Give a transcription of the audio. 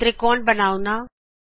ਤ੍ਰਿਕੌਣ triangle ਬਣਾਓਣਾ